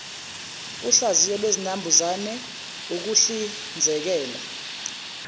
uhlaziyo lwezinambuzane ukuhlizekela